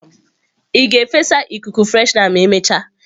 Ị ga-efesa ikuku freshener ma emechaa?